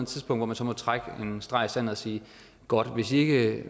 tidspunkt hvor man så må trække en streg i sandet og sige godt hvis i ikke